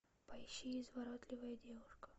поищи изворотливая девушка